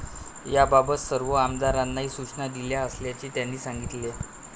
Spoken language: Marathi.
याबाबत सर्व आमदारांनाही सूचना दिल्या असल्याचे त्यांनी सांगितले.